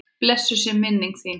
Blessuð er minning þín.